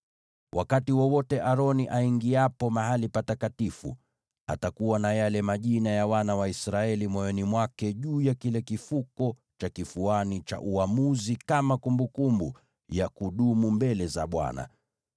“Wakati wowote Aroni aingiapo Mahali Patakatifu, atakuwa na yale majina ya wana wa Israeli moyoni mwake juu ya kile kifuko cha kifuani cha uamuzi kama kumbukumbu ya kudumu mbele za Bwana .